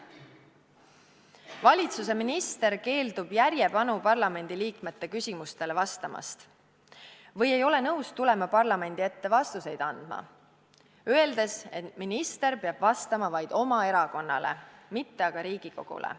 Valitsuse minister keeldub järjepanu parlamendiliikmete küsimustele vastamast või ei ole nõus tulema parlamendi ette vastuseid andma, öeldes, et minister peab vastama vaid oma erakonnale, mitte aga Riigikogule.